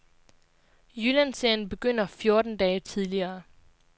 Jyllandserien begynder fjorten dage tidligere.